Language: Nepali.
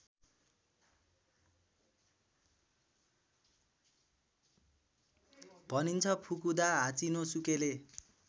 भनिन्छ फुकुदा हाचिनोसुकेले